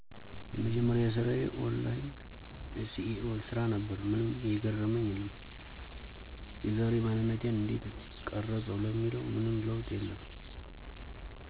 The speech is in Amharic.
የመጀመርያ ስራዪ ኦንላይን SEO ስራ ነበር። ምንም የገረመኝ የለም። የዛሬ ማንነቴን እንዴት ቀረፀው ለሚለው ምንም ለውጥ የለም።